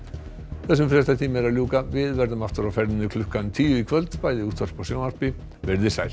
þessum fréttatíma er að ljúka við verðum aftur á ferðinni klukkan tíu í kvöld bæði í útvarpi og sjónvarpi verið þið sæl